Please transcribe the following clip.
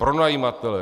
Pronajímatelé.